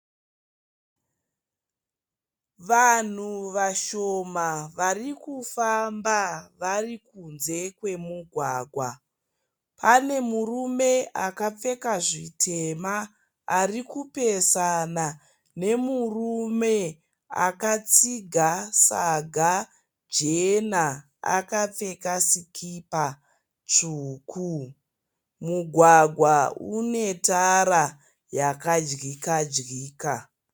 Vanhu vashoma vari kufamba vari kunze kwemugwagwa. Pane murume akapfeka zvitema ari kupesana nemurume akatsiga saga jena, akapfeka sikipa tsvuku. Mugwagwa une tara yakadyika dyika.